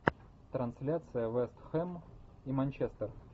трансляция вест хэм и манчестер